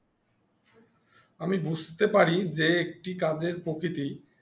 আমি বুঝতে পারি যে একটি কাজের প্রকৃতি